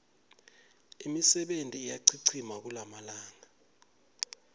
imisebenti iyachichima kulamalanga